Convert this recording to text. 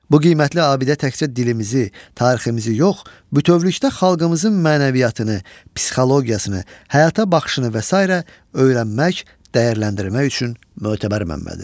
Bu qiymətli abidə təkcə dilimizi, tariximizi yox, bütövlükdə xalqımızın mənəviyyatını, psixologiyasını, həyata baxışını və sairə öyrənmək, dəyərləndirmək üçün mötəbər mənbədir.